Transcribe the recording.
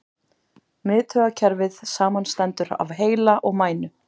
Miðtaugakerfið samanstendur af heila og mænu.